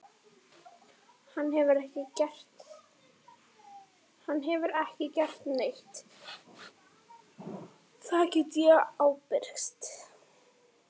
Hann hefur ekki gert neitt, það get ég ábyrgst.